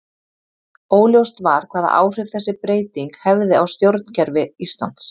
Óljóst var hvaða áhrif þessi breyting hefði á stjórnkerfi Íslands.